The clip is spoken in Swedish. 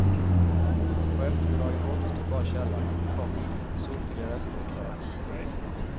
På eftermiddagen återstod bara källaren, komma sotiga rester och rök. punkt